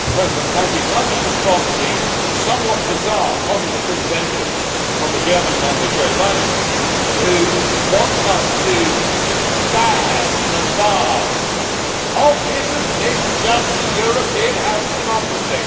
Mr President, can I respond to the somewhat bizarre Communist intervention from the German Member Jo Leinen who wants us to ban and bar Oh, isn't this just the European House of democracy!